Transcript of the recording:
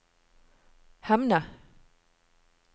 Hemne